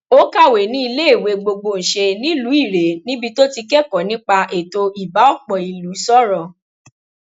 ó kàwé ní iléèwé gbọgbọnsẹ nílùú ire níbi tó ti kẹkọọ nípa ètò ibà ọpọ ìlú sọrọ